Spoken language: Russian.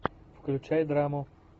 включай драму